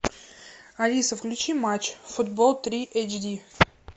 алиса включи матч футбол три эйч ди